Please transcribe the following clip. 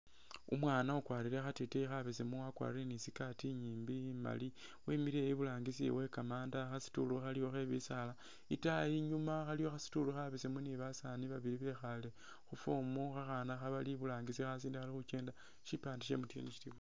Umwaana ukwalire khateteyi khabesemu wakwalire ni skaati inyimbi imaali wemile iburangisi wekamanda khasituulu khaliwo khebisaala itaayi inyuma waliwo khasituulu khabesemu ni basaani babili bekhale khuform khakhaana khabali iburangisi khasinde khali khukenda shipande sha MTN shili...